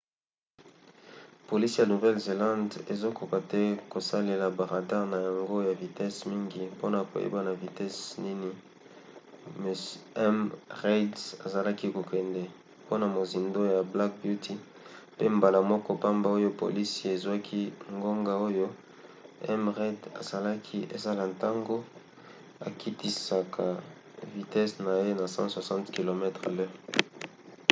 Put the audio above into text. polisi ya nouvelle-zelande ezokoka te kosalela ba radare na yango ya vitesi mingi mpona koyeba na vitese nini m. reid azalaki kokende mpona mozindo ya black beauty pe mbala moko pamba oyo polisi ezwaki ngonga oyo m. reid asalaki ezalaki ntango akitisaka vitese na ye na 160 km/h